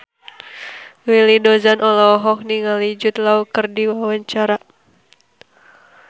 Willy Dozan olohok ningali Jude Law keur diwawancara